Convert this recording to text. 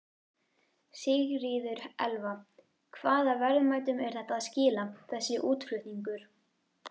Sigríður Elva: Hvaða verðmætum er þetta að skila, þessi útflutningur?